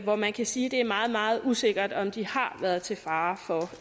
hvor man kan sige det er meget meget usikkert om de har været til fare for